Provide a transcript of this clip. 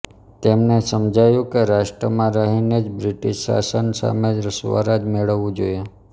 તેમને સમજાયું કે રાષ્ટ્રમાં રહીને જ બ્રિટીશ શાસન સામે સ્વરાજ મેળવવું જોઇએ